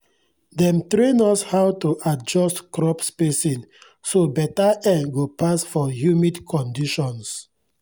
dem train us how to adjust crop spacing so beta air go pass for humid conditions